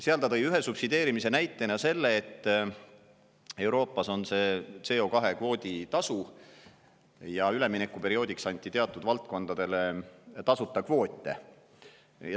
Seal ta tõi ühe subsideerimise näitena selle, et Euroopas on CO2‑kvoodi tasu, aga üleminekuperioodiks anti teatud valdkondadele tasuta kvoote.